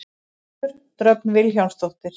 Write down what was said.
Höfundur: Dröfn Vilhjálmsdóttir.